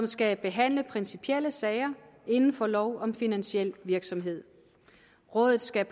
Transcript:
skal behandle principielle sager inden for lov om finansiel virksomhed rådet skal